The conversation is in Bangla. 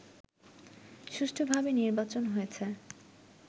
সুষ্ঠুভাবে নির্বাচন হয়েছে